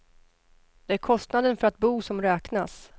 Det är kostnaden för att bo som räknas.